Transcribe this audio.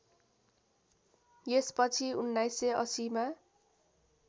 यसपछि १९८० मा